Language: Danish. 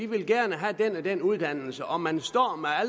man gerne have den og den uddannelse og man står